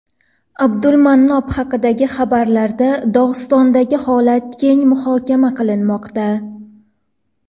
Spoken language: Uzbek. Abdulmanap haqidagi xabarlarda Dog‘istondagi holat keng muhokama qilinmoqda.